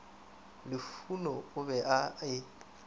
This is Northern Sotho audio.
lufhuno o be a e